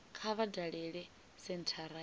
kha vha dalele senthara ya